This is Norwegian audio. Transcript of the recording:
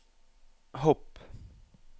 hopp